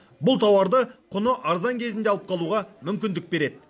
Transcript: бұл тауарды құны арзан кезінде алып қалуға мүмкіндік береді